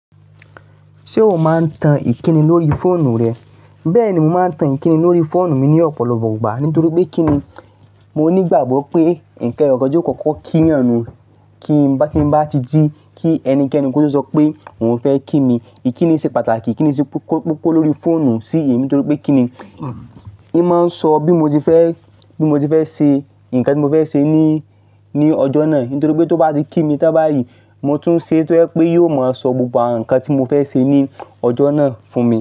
Ṣé o máa ń tan ìkíni lórí fóònù rẹ? Bẹ́ẹ̀ni, mo máa ń tan ìkíni lórí fóònù mi ní ọ̀pọ̀lọpọ̀ ìgbà. Nítorí pé kí ni, mo ní ìgbàgbọ́ pé ǹkan èro ọjọ́ kọ̀ọ̀kan kí ọ̀run kí bá tí mo bá ti jí kí ẹnikẹ́ni kó tó sọ pé òun fẹ́ kí mi. Ìkíni ṣe pàtàkì, ìkíni ṣe kókó lórí fóònù sí èmi torí pé kí ni, ó máa sọ bí mo ti fẹ́, bí mo ti fẹ́ ṣe ǹkan tí mo fẹ́ ṣe ní, ní ọjọ́ náà. Nítorí pé tó bá ti kí mi tán bá yìí, mo tún ṣe kó pé yóò máa sọ gbogbo ǹkan tí mo fẹ́ ṣe ní ọjọ́ náà fún mi.